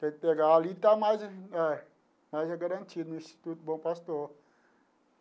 Tem que pegar ali e está mais é mais garantido no Instituto Bom Pastor.